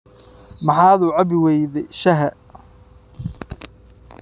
Maxaad u cabbi weyday shaaha?